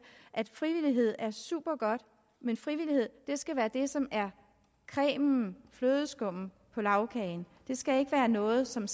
at frivillighed er supergodt men frivillighed skal være det som er cremen flødeskummet på lagkagen det skal ikke være noget som